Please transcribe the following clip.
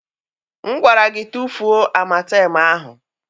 M gwara gị tufuo amatem ahụ!